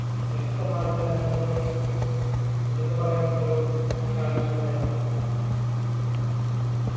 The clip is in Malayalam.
വ്യക്തമായിട്ട് തന്നെ നമ്മുക്ക് എടുത്ത് പറയേണ്ട ഒരു കാര്യം തന്നെയാണ്